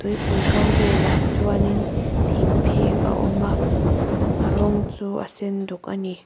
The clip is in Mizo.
tuipui kam velah chuanin thingphek a awm a a rawng chu a senduk a ni.